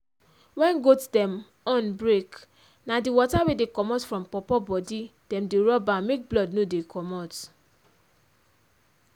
wen goat dem horn break na d water wey dey commot for pawpaw bodi dem dey rub am make blood no dey commot.